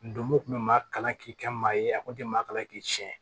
Ndomo kun bɛ maa kalan k'i kɛ maa ye a kun tɛ maa kalan k'i tiɲɛ